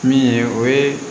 Min ye o ye